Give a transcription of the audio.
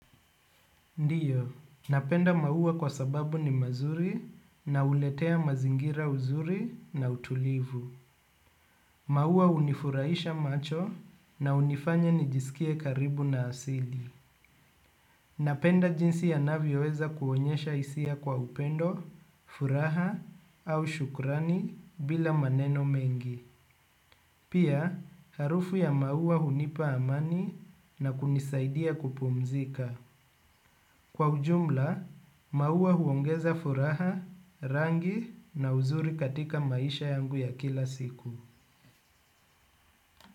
Ndiyo, napenda maua kwa sababu ni mazuri na huletea mazingira uzuri na utulivu. Maua hunifuraisha macho na unifanya nijisikie karibu na asili. Napenda jinsi yanavyoweza kuonyesha hisia kwa upendo, furaha au shukurani bila maneno mengi. Pia, harufu ya maua hunipa amani na kunisaidia kupumzika. Kwa ujumla, maua huongeza furaha, rangi na uzuri katika maisha yangu ya kila siku.